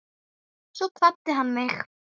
Svo kvaddi hann mig.